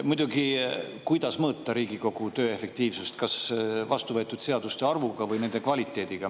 Muidugi, kuidas mõõta Riigikogu töö efektiivsust: kas vastuvõetud seaduste arvust või nende kvaliteedist?